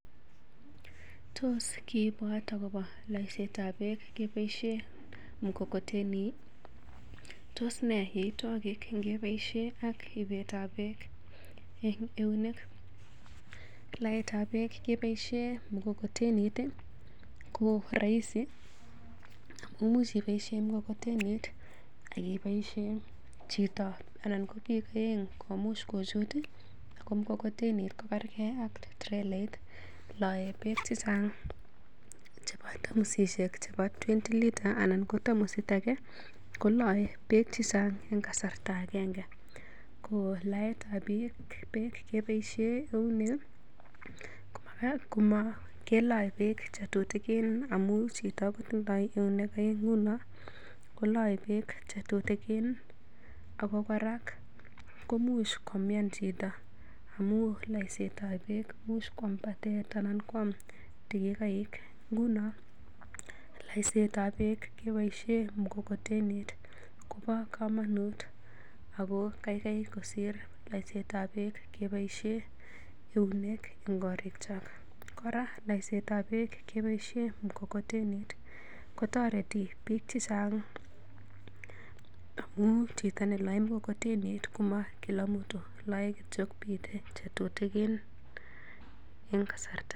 Tos kiibwat agobo loiseetab beek keboisien mkokoteni ii? Tos nee yoitwogikyik ngibesio ak ibeetab beek en eunek? Laetab beek keboisie mkokotenit ko roisi imuch iboisie mkokotenit ak iboisie chito anan biik oeng komuch kochut. Ago mkokotenit kokerege ak trelait lae beek che chang cheboto tamosishek chebo twenty litres anan ko tamosit age. Kolae beek che chang en kasarta agenge. Ko laetab beek keboisie eunek kelae beek che tutigin amun chito kotindoi eunek oeng nguno kolae beek che tutigin ago kora koimuch komian chito amun laesetab beek imuch batet anan kwam tigikoik. Nguno laisetab beek keboisien mkokotenit kobo komonut ago kaikai kosir laisetab beek keboisie eunek en korikyok. Kora laesetab beek keboisie mkokotenit kotoreti beek che chang, amun chito neloe mkokotenit kama kila mtu lae kityo biik che tutikin.